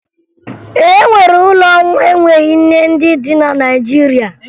E nwere ụlọ nwa enweghi nne ndị dị na Naịjirịa